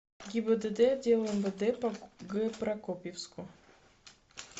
гибдд отдела мвд по г прокопьевску